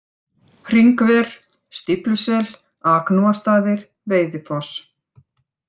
Hringver, Stíflusel, Agnúastaðir, Veiðifoss